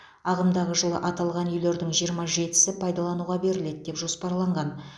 ағымдағы жылы аталған үйлердің жиырма жетісі пайдалануға беріледі деп жоспарланған